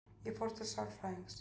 Ég fór til sálfræðings.